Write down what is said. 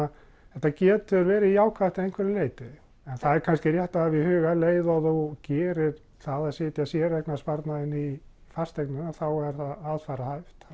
þetta getur verið jákvætt að einhverju leyti en það er kannski rétt að hafa í huga að um leið og þú gerir það að setja séreignarsparnaðinn í fasteignina að er það aðfararhæft